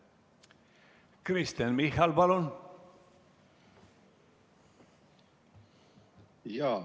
Kristen Michal, palun!